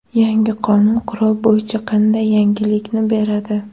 Yangi qonun qurol bo‘yicha qanday yengillikni beradi?